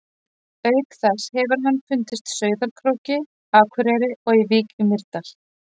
Auk þess hefur hann fundist Sauðárkróki, Akureyri og í Vík í Mýrdal.